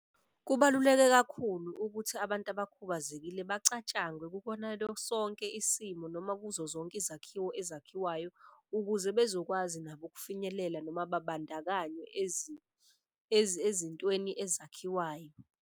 Kubaluleke kakhulu ukuthi abantu abakhubazekile bacatshangwe kukona sonke isimo noma kuzo zonke izakhiwo ezakhiwayo. Ukuze bezokwazi nabo ukufinyelela noma babandakanywe ezintweni ezakhiwayo.